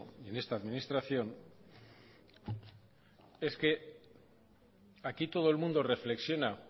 y en esta administración es que aquí todo el mundo reflexiona